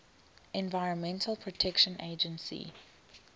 environmental protection agency